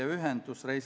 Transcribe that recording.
Aitäh!